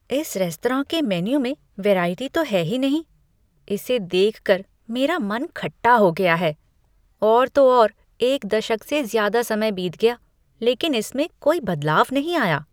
इस रेस्तराँ के मेनू में वेराइटी तो हैं ही नहीं। इसे देखकर मेरा मन खट्टा हो गया है। और तो और, एक दशक से ज़्यादा समय बीत गया, लेकिन इसमें कोई बदलाव नहीं आया।